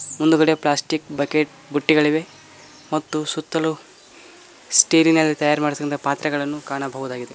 ಮುಂದ್ಗಡೆ plastic bucket ಬುಟ್ಟಿಗಳಿವೆ ಮತ್ತು ಸುತ್ತಲು ಸ್ಟೀಲಿನಲ್ಲಿ ತಯಾರಿಸಿದ ಪಾತ್ರೆಗಳನ್ನು ಕಾಣಬಹುದಾಗಿದೆ.